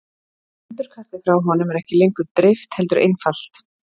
endurkastið frá honum er ekki lengur dreift heldur einfalt